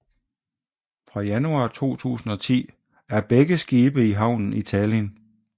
Fra januar 2010 er begge skibe i havnen i Tallinn